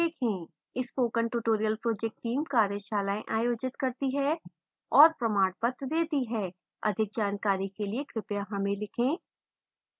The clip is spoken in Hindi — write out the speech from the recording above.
spoken tutorial project team कार्यशालाएँ आयोजित करती है और प्रमाणपत्र देती है अधिक जानकारी के लिए कृपया हमें लिखें